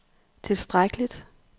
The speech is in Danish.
tilstrækkeligt